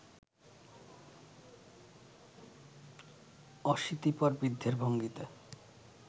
অশীতিপর বৃদ্ধের ভঙ্গিতে